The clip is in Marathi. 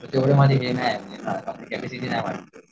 तेवढं माझं हे नाही आपली कॅपेसिटी नाही माझी तेवढी.